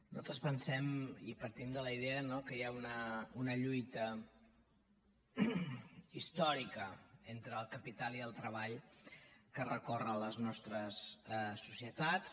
nosaltres pensem i partim de la idea no que hi ha una lluita històrica entre el capital i el treball que recorre les nostres societats